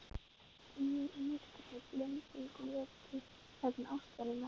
Og ég í myrkrinu, blinduð, glötuð, vegna ástarinnar.